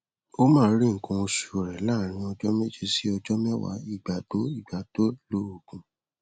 ó máa rí nǹkan oṣù rẹ láàárín ọjọ méje sí ọjọ mẹwàá ìgbà tó ìgbà tó lo òògùn